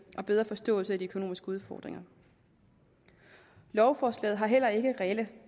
og bedre forståelse af de økonomiske udfordringer lovforslaget har heller ikke reelle